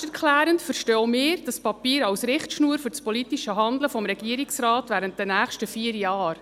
Selbsterklärend verstehen auch wir dieses Papier als Richtschnur für das politische Handeln des Regierungsrates während der nächsten vier Jahre.